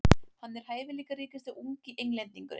Hann er hæfileikaríkasti ungi Englendingurinn.